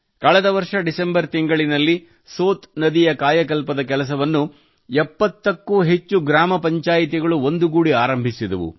ಕಳೆದ ವರ್ಷ ಡಿಸೆಂಬರ್ ತಿಂಗಳಿನಲ್ಲಿ ಸೋತ್ ನದಿಯ ಕಾಯಕಲ್ಪದ ಕೆಲಸವನ್ನು 70 ಕ್ಕೂ ಹೆಚ್ಚು ಗ್ರಾಮ ಪಂಚಾಯಿತಿಗಳು ಒಂದುಗೂಡಿ ಆರಂಭಸಿದವು